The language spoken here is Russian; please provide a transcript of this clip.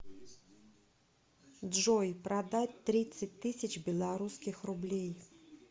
джой продать тридцать тысяч белорусских рублей